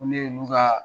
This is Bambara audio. Ko ne ka